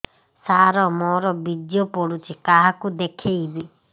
ସାର ମୋର ବୀର୍ଯ୍ୟ ପଢ଼ୁଛି କାହାକୁ ଦେଖେଇବି